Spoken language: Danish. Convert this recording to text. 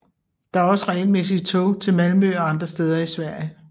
Der er også regelmæssige tog til Malmø og andre steder i Sverige